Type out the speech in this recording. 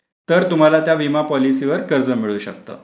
तर तुम्हाला त्या विमा पॉलिसीवर कर्ज मिळू शकतो.